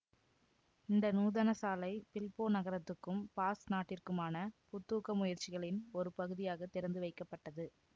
இந்த நூதனசாலை பில்போ நகரத்துக்கும் பாஸ்க் நாட்டிற்குமான புத்தூக்க முயற்சிகளின் ஒரு பகுதியாகத் திறந்துவைக்கப்பட்டது